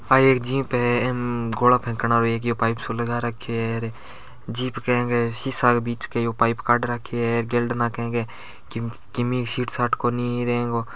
एक जीप इम एक यो गोला फेकन आरो एक यो पाइप सो लगा राखो है जीप ए के सीसा के बिच के यो पाइप काड राखो है गेल्डे नाके ए के किमी सीट साट कोणी र ए को --